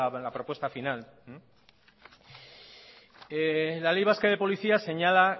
la propuesta final la ley vasca de policías señala